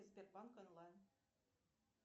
сбербанк онлайн